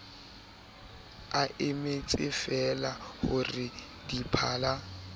a emetsefeela ho re diphala